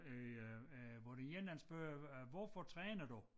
Øh øh hvor den ene han spørger øh hvorfor træner du?